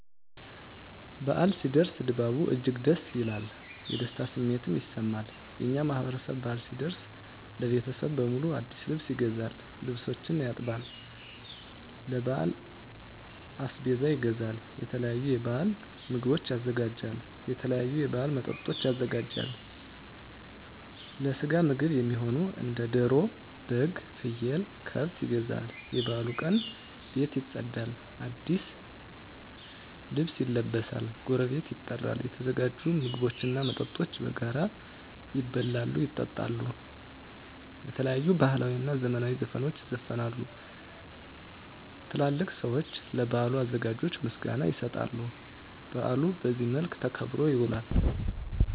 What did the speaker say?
በዓል ሲኖር ድባቡ እጅግ ደስ ይላል። የደስታ ስሜትም ይሰማል። የእኛ ማህበረሰብ በአል ሲደርስ ለቤተሰብ በሙሉ አዲስ ልብስ ይገዛል፤ ልብሶችን ያጥባል፤ ለበዓል አስቤዛ ይገዛል፤ የተለያዩ የበዓል ምግቦችን ያዘጋጃል፤ የተለያዩ የበዓል መጠጦችን ያዘጋጃል፤ ለስጋ ምግብ እሚሆኑ እንደ ደሮ፤ በግ፤ ፍየል፤ ከብት ይገዛሉ፤ የበዓሉ ቀን ቤት ይፀዳል፤ አዲስ ልብስ ይለበሳል፤ ጎረቤት ይጠራል፤ የተዘጋጁ ምግቦች እና መጠጦች በጋራ ይበላሉ፤ ይጠጣሉ፤ የተለያዩ ባህላዊ እና ዘመናዊ ዘፈኖች ይዘፈናሉ፤ ትላልቅ ሰዊች ለበዓሉ አዘጋጆች ምስጋና ይሰጣሉ፤ በአሉ በዚህ መልክ ተከብሮ ይውላል።